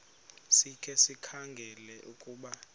sikhe sikhangele ukuba